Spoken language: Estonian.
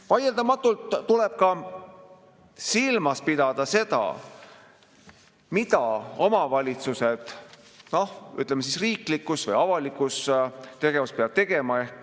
Vaieldamatult tuleb silmas pidada ka seda, mida omavalitsus, ütleme siis, riiklikus või avalikus tegevuses peab tegema.